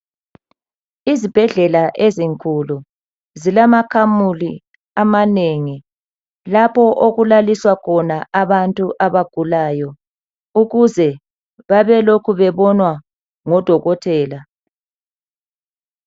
Izibhedlela ezinkulu zilama kamela amanengi lapho okulaliswa khona abantu abagulayo ukuze babelokhu bebonwa ngodokotela.